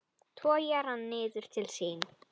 Togar hann niður til sín.